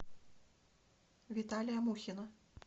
виталия мухина